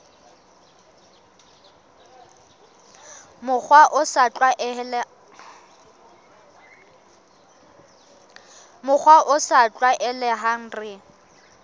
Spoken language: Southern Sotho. mokgwa o sa tlwaelehang re